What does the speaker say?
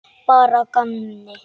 Bara að gamni.